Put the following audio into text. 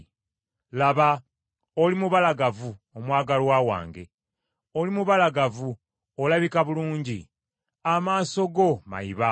Laba, oli mubalagavu, omwagalwa wange oli mubalagavu olabika bulungi. Amaaso go mayiba.